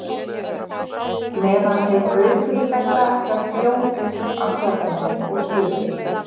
Meðan þeir baukuðu þetta hrökk Jón upp af svefninum og spurði